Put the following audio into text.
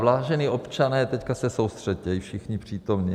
Vážení občané, teď se soustřeďte, i všichni přítomní.